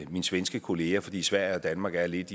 min svenske kollega fordi sverige og danmark er lidt